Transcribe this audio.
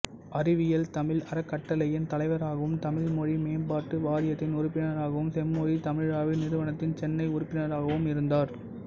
அறிவியல் தமிழ் அறக்கட்டளையின் தலைவராகவும் தமிழ் மொழி மேம்பாட்டு வாரியத்தின் உறுப்பினரகவும் செம்மொழி தமிழாய்வு நிறுவனத்தின் சென்னை உறுப்பினராகவும் இருந்தார்